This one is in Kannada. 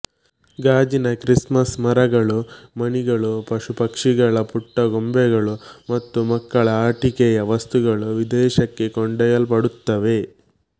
ಗಾಜಿನ ಕ್ರಿಸ್ ಮಸ್ ಮರಗಳು ಮಣಿಗಳು ಪಶುಪಕ್ಷಿಗಳ ಪುಟ್ಟ ಗೊಂಬೆಗಳು ಮತ್ತು ಮಕ್ಕಳ ಆಟಿಕೆಯ ವಸ್ತುಗಳು ವಿದೇಶಕ್ಕೆ ಕೊಂಡೊಯಲ್ಪಡುತ್ತವೆ